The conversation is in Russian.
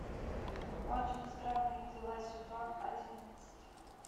очень странные дела сезон одиннадцать